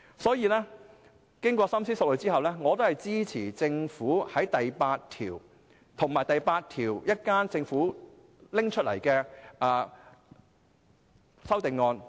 所以，經過深思熟慮後，我支持政府訂定的第8條，以及稍後就第8條提出的修正案。